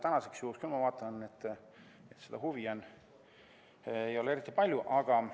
Täna, ma vaatan, seda huvi eriti palju ei ole.